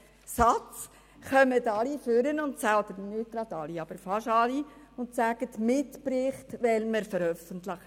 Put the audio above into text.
bitte lesen Sie alle diesen Satz nochmals –, treten fast alle ans Mikrofon und sagen, wir wollten die Mitberichte veröffentlichen.